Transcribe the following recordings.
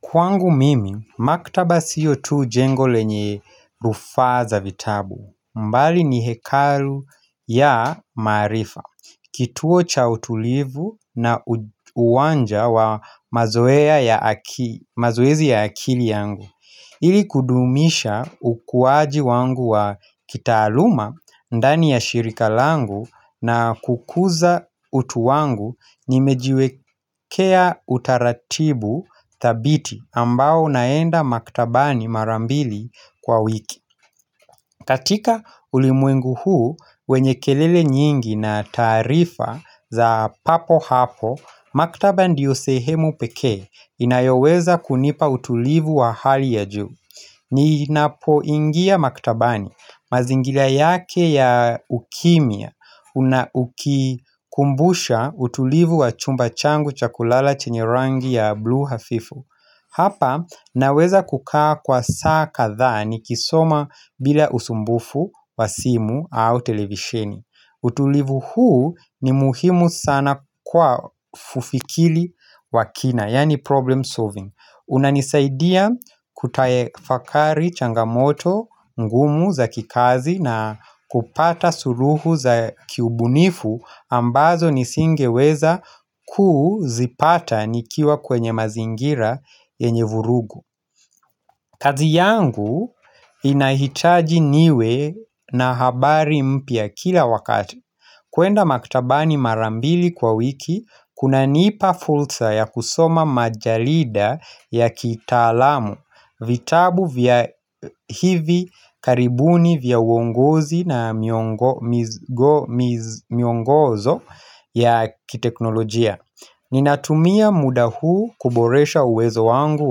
Kwangu mimi, maktaba siyo tu jengo lenye rufaa za vitabu. Mbali ni hekalu ya maarifa. Kituo cha utulivu na uwanja wa mazoezi ya akili yangu. Ili kudumisha ukuwaji wangu wa kitaaluma ndani ya shirika langu na kukuza utu wangu Nimejiwekea utaratibu dhabiti ambao unaenda maktabani mara mbili kwa wiki katika ulimwengu huu wenye kelele nyingi na taarifa za papo hapo Maktaba ndiyo sehemu pekee inayoweza kunipa utulivu wa hali ya juu ni inapoingia maktabani mazingira yake ya ukimia Unaukikumbusha utulivu wa chumba changu chakulala chenye rangi ya blue hafifu Hapa naweza kukaa kwa saa kadhaa nikisoma bila usumbufu wa simu au televisheni. Utulivu huu ni muhimu sana kwa kufikili wa kina, yani problem solving unanisaidia kutafakari changamoto ngumu za kikazi na kupata suluhu za kiubunifu ambazo nisingeweza kuzipata nikiwa kwenye mazingira yenye vurugu kazi yangu inahitaji niwe na habari mpya kila wakati kuenda maktabani mara mbili kwa wiki, kunanipa fulsa ya kusoma majalida ya kitaalamu, vitabu vya hivi karibuni vya uongozi na miongozo ya kiteknolojia. Ninatumia muda huu kuboresha uwezo wangu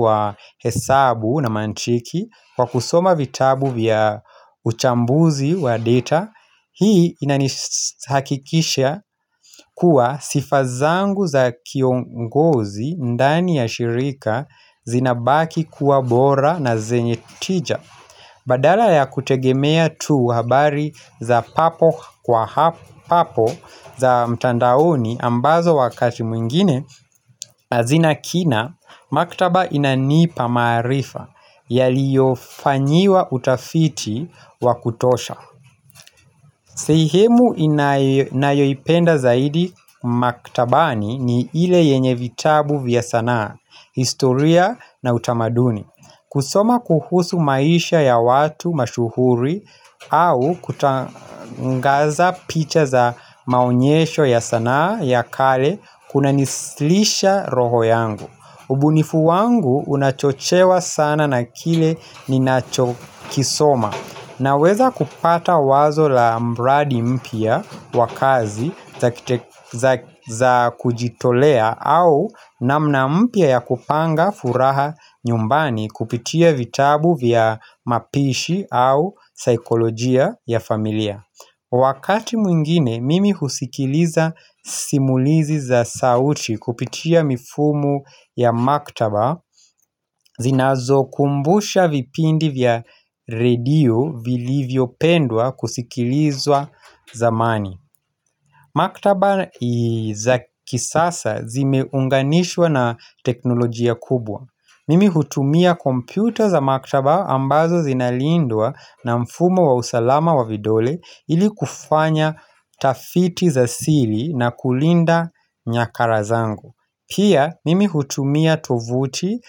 wa hesabu na mantiki Kwa kusoma vitabu vya uchambuzi wa data Hii inanihakikisha kuwa sifa zangu za kiongozi ndani ya shirika zinabaki kuwa bora na zenye tija Badala ya kutegemea tuu habari za papo kwa papo za mtandaoni ambazo wakati mwingine hazina kina, maktaba inanipa maarifa yaliofanyiwa utafiti wakutosha sehemu inayoipenda zaidi maktabani ni ile yenye vitabu vya sanaa, historia na utamaduni kusoma kuhusu maisha ya watu mashuhuri au kutangaza picha za maonyesho ya sanaa ya kale kuna nislisha roho yangu. Ubunifu wangu unachochewa sana na kile ninachokisoma naweza kupata wazo la mradi mpya wa kazi za kujitolea au namna mpya ya kupanga furaha nyumbani kupitia vitabu vya mapishi au saikolojia ya familia. Wakati mwingine, mimi husikiliza simulizi za sauti kupitia mifumo ya maktaba, zinazokumbusha vipindi vya redio vilivyopendwa kusikilizwa zamani. Maktaba za kisasa zimeunganishwa na teknolojia kubwa. Mimi hutumia kompyuta za maktaba ambazo zinalindwa na mfumo wa usalama wa vidole ili kufanya tafiti za siri na kulinda nyakara zangu. Pia mimi hutumia tovuti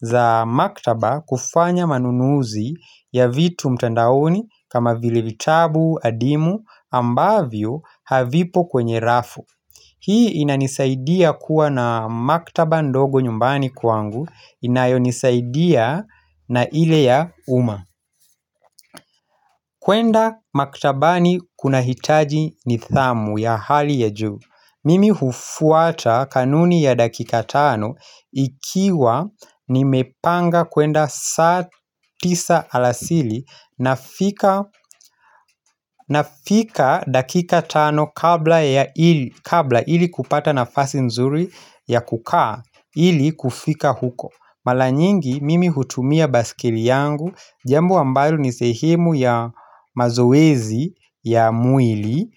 za maktaba kufanya manunuzi ya vitu mtandaoni kama vilevitabu, adimu ambavyo havipo kwenye rafu. Hii inanisaidia kuwa na maktaba ndogo nyumbani kwangu inayonisaidia na ile ya umma kwenda maktabani kuna hitaji nidhamu ya hali ya juu Mimi hufuata kanuni ya dakika tano ikiwa nimepanga kwenda saa tisa alasiri nafika dakika tano kabla ili kupata nafasi nzuri ya kukaa ili kufika huko Mala nyingi mimi hutumia baiskeli yangu Jambo wa ambalo ni sehemu ya mazoezi ya mwili.